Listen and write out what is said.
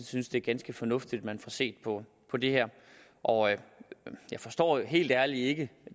synes det er ganske fornuftigt at man får set på på det her og jeg forstår helt ærligt ikke